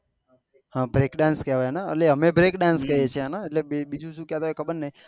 હા break dance કેહવાય ન અલે અમે break dance કહીએ છે એને બીજું શું કેહતા હોય એ ખબર નહી